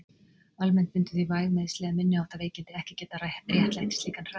Almennt myndu því væg meiðsli eða minniháttar veikindi ekki geta réttlætt slíkan hraðakstur.